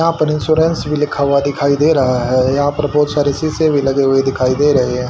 यां पर इंश्योरेंस भी लिखा हुआ दिखाई दे रहा है यहां पर बहुत सारे शीशे भी लगे हुए दिखाई दे रहे हैं।